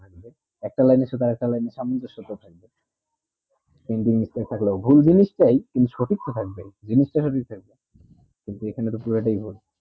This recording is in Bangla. একটা line এ সাথে সামনে সোটা থাকে হিন্দি printing mistake লোগ ভুল জিনিস তাই কিন্তু সঠিক কথা জিনিস তা এইখানে তো পুরো তাই ঘোল